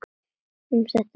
Um það stendur stríðið nú.